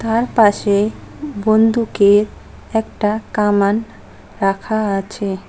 তার পাশে বন্দুকের একটা কামান রাখা আছে।